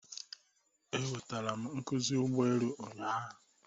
Enwetara m nkuzi ụgbọ elu ụnyaahụ